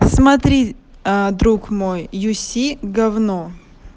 смотри аа друг мой юси говно